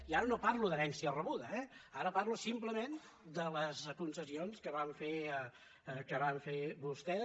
i ara no parlo d’herència rebuda eh ara parlo simplement de les concessions que van fer vostès